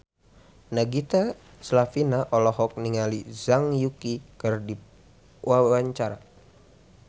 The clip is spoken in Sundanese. Nagita Slavina olohok ningali Zhang Yuqi keur diwawancara